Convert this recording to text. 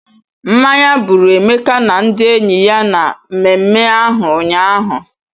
Mmanya gbụrụ Emeka na ndị enyi ya na mmemme ahụ ụnyaahụ.